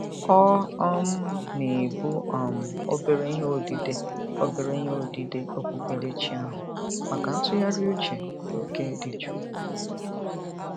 Ọ um na-ebu um obere ihe odide obere ihe odide okpukperechi ahụ maka ntụgharị uche n'oge dị jụụ.